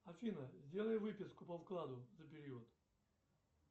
афина сделай выписку по вкладу за период